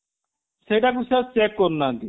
ସେଇଟା କୁ ସେ ଆଉ check କରୁ ନାହାନ୍ତି